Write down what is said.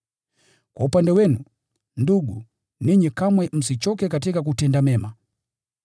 Kwa upande wenu, ndugu, ninyi kamwe msichoke katika kutenda mema.